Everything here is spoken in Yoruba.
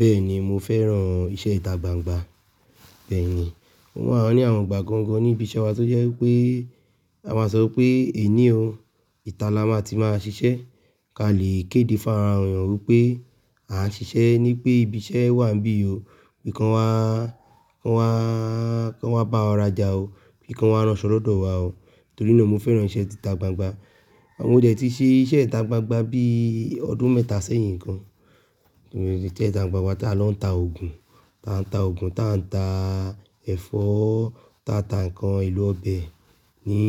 Bẹ́ẹ̀ni mo fẹ́ran iṣẹ́ ìta gbangba. Bẹ́ẹ̀ni, o ma ní àwọn ìgbà kankan níbi iṣẹ́ wa tó jẹ́ pé a máa sọ pé èní ò ìta la máa ti máa ṣiṣẹ́. Ka le kéde fún ara èèyàn pé a ṣiṣẹ́ ní pé ibi iṣẹ́ wà bíi o, pé kí wọn wá, kí wá, kí wá bá ọ rajà o, pé kí wọn wá ránṣọ lọ́dọ̀ wa o. Torí náà mo fẹ́ran iṣẹ́ ìta gbangba. Mọ dẹ ti ṣe iṣẹ́ ìta gbangba bí ọdún mẹ́ta sẹ́yìn gan. Torí iṣẹ́ ìta gbangba ta a lọ ń ta oògùn, ta a ń ta oògùn, ta a ń ta ẹ̀fọ́, ta a ta ǹkan elo ọbẹ̀ ní